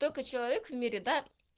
столько человек в мире да